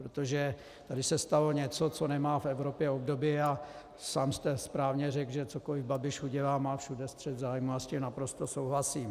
Protože tady se stalo něco, co nemá v Evropě obdoby, a sám jste správně řekl, že cokoliv Babiš udělá, má všude střet zájmů, a s tím naprosto souhlasím.